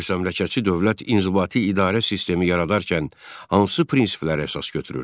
Müstəmləkəçi dövlət inzibati idarə sistemi yaradarkən hansı prinsipləri əsas götürürdü?